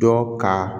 Dɔ ka